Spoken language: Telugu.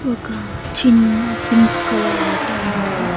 ఒక చిన్న పింక్ కలర్ ఆటో ఉంది.